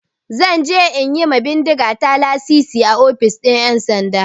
Zan je in yi ma bindigata lasisi a ofishin 'yansanda.